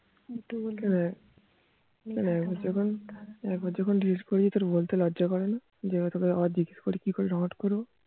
একবার যখন delete করেছি বলতে লজ্জা করে না যে আবার তোকে জিজ্ঞাস করি কি করে যে download করবো